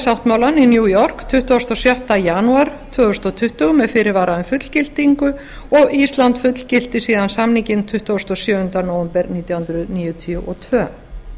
sáttmálann í new york tuttugasta og sjötta janúar tvö þúsund tuttugu með fyrirvara um fullgildingu og ísland fullgilti síðan samninginn tuttugasta og sjöunda nóvember nítján hundruð níutíu og tvö